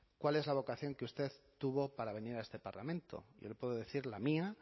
cuál es la vocación que usted tuvo para venir a este parlamento yo le puedo decir la mía